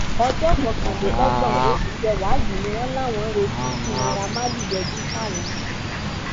ọjọ kọkànlélọgbọn oṣù kẹwàá yìí ni wọn láwọn ń retí kí naira marley yọjú sáwọn